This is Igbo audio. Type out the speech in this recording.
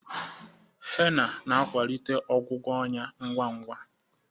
Hena na-akwalite ọgwụgwọ ọnya ngwa ngwa.